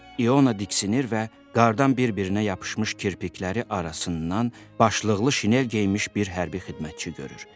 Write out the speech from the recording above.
İona diksinir və qardan bir-birinə yapışmış kirpikləri arasından başlıqlı şinel geyinmiş bir hərbi xidmətçi görür.